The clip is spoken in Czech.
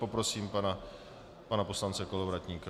Poprosím pana poslance Kolovratníka.